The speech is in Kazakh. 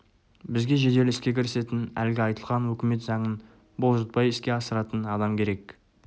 бізге жедел іске кірісетін әлгі айтылған өкімет заңын бұлжытпай іске асыратын адам керек